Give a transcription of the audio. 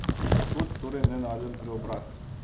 Od kod torej nenaden preobrat?